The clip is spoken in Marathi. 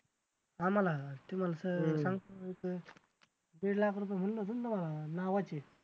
आम्हाला दीड लाख रुपये